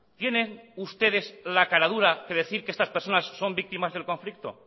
tienen ustedes la caradura de decir que estas personas son víctimas del conflicto